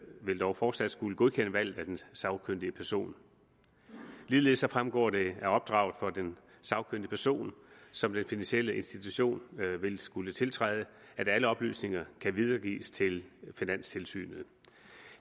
vil dog fortsat skulle godkende valget af den sagkyndige person ligeledes fremgår det af opdraget for den sagkyndige person som den finansielle institution vil skulle tiltræde at alle oplysninger kan videregives til finanstilsynet